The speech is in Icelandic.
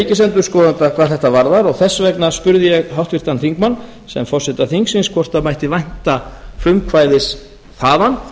ríkisendurskoðanda hvað þetta varðar og þess vegna spurði ég háttvirtan þingmann sem forseta þingsins hvort mætti vænta frumkvæðis þaðan